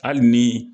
Hali ni